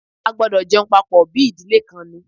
A gbọdọ̀ jẹun papọ̀ bí ìdílé kan ni!